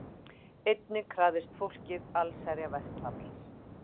Einnig krafðist fólkið allsherjarverkfalls